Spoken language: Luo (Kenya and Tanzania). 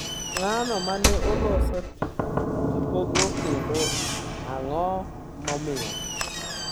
To ng’ano ma ne oloso tipogo kendo ang’o momiyo?